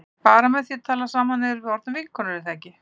Bara með því að tala saman þá erum við orðnar vinkonur er það ekki?